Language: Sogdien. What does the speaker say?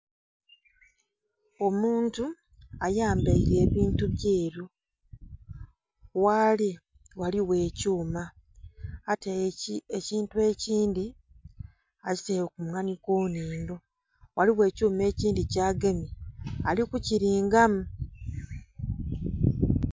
Omuntu ayambaire ebintu byeru ghali ghaligho ekyuma ataire ekyintu ekyindi akyitere ku munwa niku nindho. Ghaligho ekyuma ekyindi kyagemye aliku kiringamu